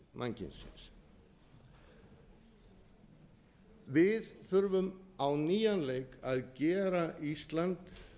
sögu mannkynsins við þurfum á nýjan leik að gera ísland